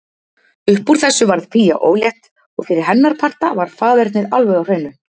Uppúr þessu varð Fía ólétt og fyrir hennar parta var faðernið alveg á hreinu.